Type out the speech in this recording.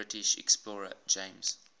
british explorer james